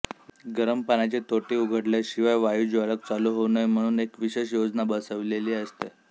गरम पाण्याची तोटी उघडल्याशिवाय वायूज्वालक चालू होऊ नये म्हणून एक विशेष योजना बसविलेली असते